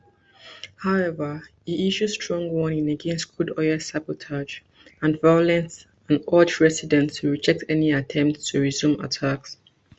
however e issue strong warning against crude oil sabotage and violence and urge residents to reject any attempts to resume attacks